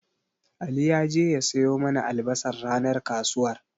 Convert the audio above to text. Ali ya je ya siyo mana albasar ranar kasuwar.